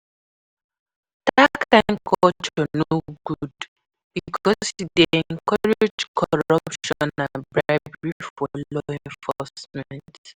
Dat kain culture no good, because e dey encourage corruption and bribery for law enforcement.